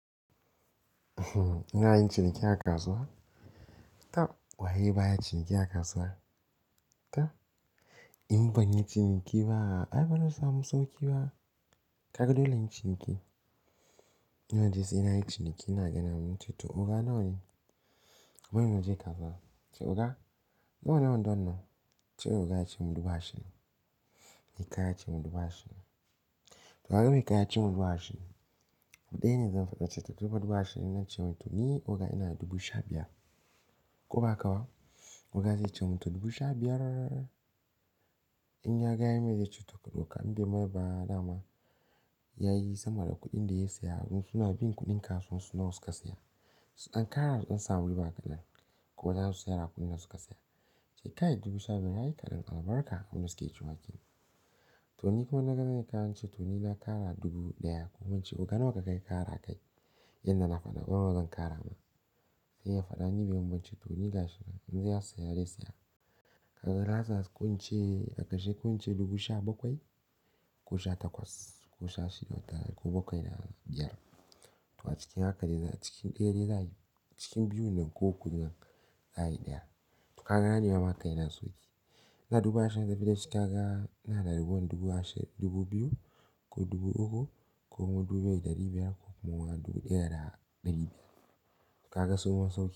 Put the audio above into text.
Ina yin ciniki a kasuwa? Tab. Wa ye baya ciniki a kasuwa? Tab. In ban yi ciniki ba, ai bana samun sauki ba. Kaga dole inyi ciniki. Ina ji sai ina yin ciniki ina ganin wani zai zo, to oga nawa ne? Wai muje gaba? Toh oga, nawa ne wandon nan? Sai oga ya ce min dubu ashirin. Ni kai ya ce min dubu ashirin. To ai me kaya yace min dubu ashirin Da yana zan faɗa ce ta, tunda muka dubu ashirin na ce masa to ni oga inada dubu sha biyar. Ko ba haka ba? Oga zai ce min to dubu sha biyar. In ya gane mai zai ce to ka ɗauka in bai ma ba dama, ya yi sama da kuɗin da ya siya. Suna bin kuɗin kasuwar su nawa suka saya. An ƙara don su samu riba kaɗan ko zasu sayar da abun da suka saya. Sai ka yi dubu sha biyar, ka yi kaɗan albarka. Abinda suke ce wakena. To ni kuma na gane kayan ce, to ni na ƙara dubu ɗaya kuma in ce oga nawa ka kai ƙara kai? Yanda na faɗa, ban zo zan ƙara ba. Sai ya faɗa ni bai mun ba ce to ni gashi nan, in zai saya dai saya. Kaga laslas ko ince a karshe ku ince dubu sha bakwai ko sha takwas ko sha shida ko bakwai da biyar. To a cikin haka dai na cikin ɗaya dai za a yi. Cikin biyun nan ko guda za'ayi ɗaya. Kaga ne nema makaina sauki. Na dubu ashirin na biya cika ga na da dubu dubu ashirin dubu biyu ko dubu uku ko kuma dubu ɗaya da biyar ko kuma dubu ɗaya da ɗari biyar. Kaga sauƙin sauƙi.